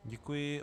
Děkuji.